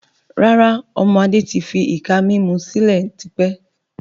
Rárá, ọmọ Adé tí fi ìka mímú sílẹ̀ tí pẹ́.